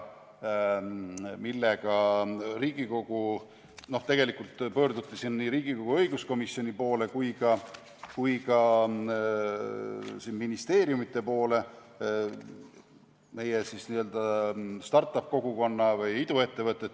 Tegelikult pöördus nii Riigikogu õiguskomisjoni kui ka ministeeriumide poole meie n-ö start-up-kogukond ehk iduettevõtted.